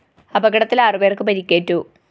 അപകടത്തില്‍ ആറു പേര്‍ക്ക് പരിക്കേറ്റു